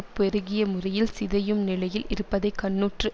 பெருகிய முறையில் சிதையும் நிலையில் இருப்பதை கண்ணுற்று